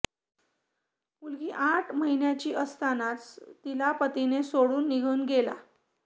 मुलगी आठ महिन्यांची असतानाच तिला पतीने सोडून निघन गेला